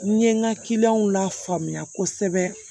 N ye n ka lafaamuya kosɛbɛ